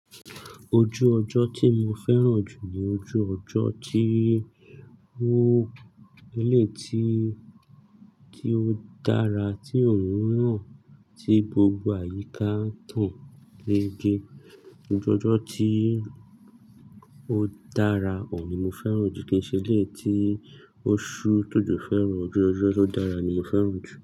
Ojú ọjọ́ tí mo fẹ́ràn jù ní ojú ọjọ́ tí ó gèlè tí, tí ó dára tí òórùn hàn tí gbogbo àyíká tàn lége. Ojú ọjọ́ tí ó dára òhùn ni mo fẹ́ràn jù kìí ṣe lé tí ó ṣú t'òjo fẹ́ ro. Ojú ọjọ́ tó dára ni mo fẹ́ràn jù.